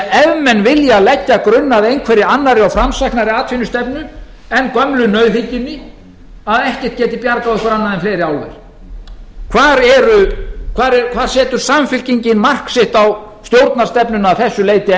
ef menn vilja leggja grunn að einhverri annarri og framsæknari atvinnustefnu en gömlu nauðhyggjunni að ekkert geti bjargað okkur annað en fleiri álver hvar setur samfylkingin mark sitt á stjórnarstefnuna að þessu leyti enn